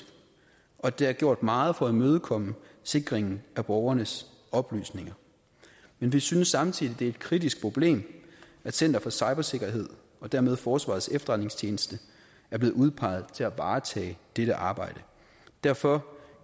og der er gjort meget for at imødekomme sikringen af borgernes oplysninger men vi synes samtidig at det er et kritisk problem at center for cybersikkerhed og dermed forsvarets efterretningstjeneste er blevet udpeget til at varetage dette arbejde derfor